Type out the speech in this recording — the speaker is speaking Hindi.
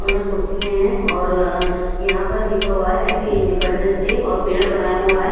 और यहां कुर्सियाँ हैं और अं यहां पर लिखा हुआ है हैप्पी इंडिपेंडेंस डे और पेड़ बनाया हुआ है।